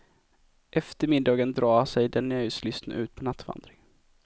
Efter middagen drar sig den nöjeslystne ut på nattvandring.